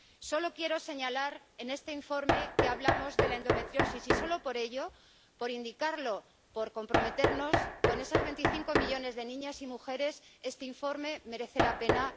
Solo quiero señalar que en este informe hablamos de la endometriosis. Y solo por ello, por indicarlo, por comprometernos con esos 25 millones de niñas y mujeres, este informe merece la pena.